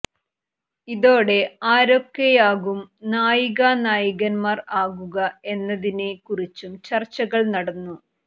ഇതോടെ ആരൊക്കെയാകും നായികാ നായകന്മാർ ആകുക എന്നതിനെ കുറിച്ചും ചർച്ചകൾ നടന്നു